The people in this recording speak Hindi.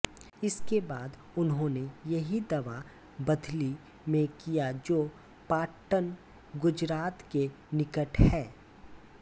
इसके बाद उन्होंने यही दावा बधली में किया जो पाटण गुजरात के निकट है